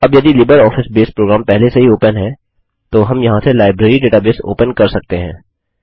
अब यदि LibreOffice base program पहले से ही ओपन है तो हम यहाँ से लाइब्रेरी डेटाबेस ओपन कर सकते हैं